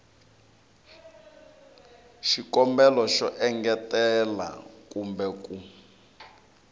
xikombelo xo engetela kumbe ku